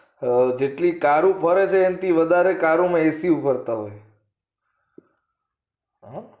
અ જેટલું તારું ફરે એન થી વધારે તારું ને AC ફરતા હોય છે હ